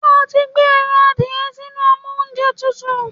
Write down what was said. Ṣé o ti gbé ẹran adìẹ sínú amóúnjẹtutù?